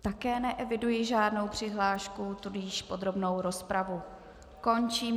Také neeviduji žádnou přihlášku, tudíž podrobnou rozpravu končím.